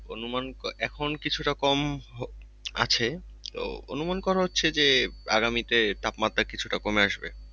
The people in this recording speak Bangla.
অনুমান এখন কিছুটা কম আছে। তো অনুমান করা হচ্ছে যে আগামীতে তাপমাত্রা কিছুটা কমে আসবে।